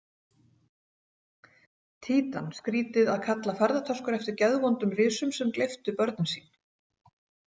Títan Skrýtið að kalla ferðatöskur eftir geðvondum risum sem gleyptu börnin sín.